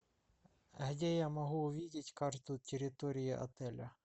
где я могу увидеть карту территории отеля